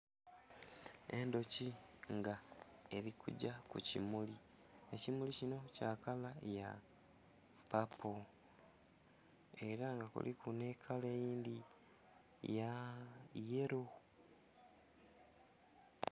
Endhuki nga erikugya kukimuli, ekimuli kino kya kala ya papo era nga kuliku nhekala eyindhi ya yelo.